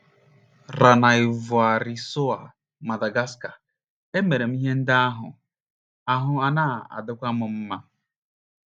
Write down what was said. Ranaivoarisoa, Madagascar. * Emere m ihe ndị ahụ, ahụ́ ana - adịkwu m mma. ”